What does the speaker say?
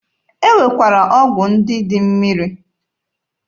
E nwekwara ọgwụ mmiri.